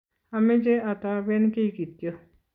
ameche atoben kiy ktyo